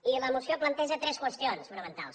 i la moció planteja tres qüestions fonamentals